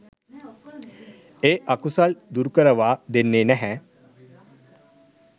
ඒ අකුසල් දුරුකරවා දෙන්නෙ නැහැ.